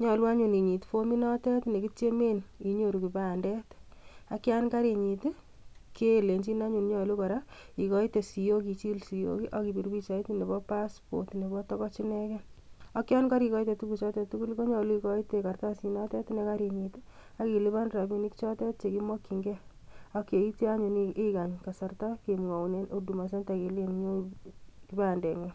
nyolu anyun Intuit fominotet nekitiemen, inyooru kipandet. Ak yon karinyiit i,kelenyiin anyun nyolu ikoite siok, ichil siok, akibir pichait nebo passport nebo togoch ineken. Ak yon korikoitei tuguchotet tugul, konyolu ikoitei katarsii nekarinyiit ak ilipan rabinik chotet chekimokyingei .Ak yeityoo anyun ikany kasartaa kemwoun en huduma senta, kele nyon iib kipandengung.